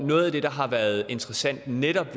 noget af det der har været interessant ved netop